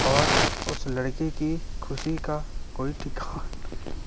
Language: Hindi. और उस लड़की की खुशी का कोई ठिका--